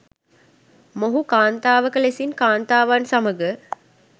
මොහු කාන්තාවක ලෙසින් කාන්තාවන් සමග